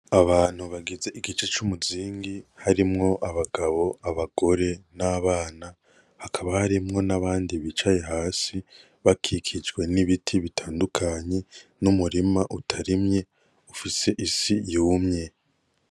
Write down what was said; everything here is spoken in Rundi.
Abantu bagize igice c'umuzingi harimwo: abagabo ,abagore ,n'abana hakaba harimwo n'abandi bicaye hasi bakikijwe n'ibiti bitandukanye n'umurima utarimye ufise isi yumye.